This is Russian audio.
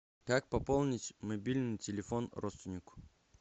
как пополнить мобильный телефон родственнику